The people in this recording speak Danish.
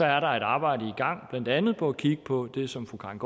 er der et arbejde i gang blandt andet for at kigge på det som fru karin